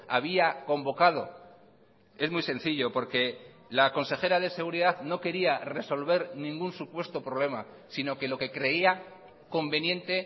había convocado es muy sencillo porque la consejera de seguridad no quería resolver ningún supuesto problema sino que lo que creía conveniente